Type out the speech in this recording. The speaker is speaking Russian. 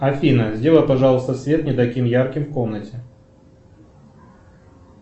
афина сделай пожалуйста свет не таким ярким в комнате